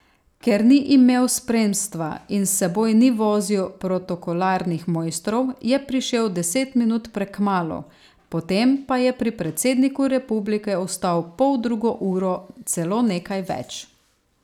Ker ni imel spremstva in s seboj ni vozil protokolarnih mojstrov, je prišel deset minut prekmalu, potem pa je pri predsedniku republike ostal poldrugo uro, celo nekaj več.